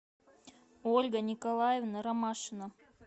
ольга николаевна ромашина